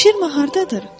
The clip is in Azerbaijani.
Şir mah hardadır?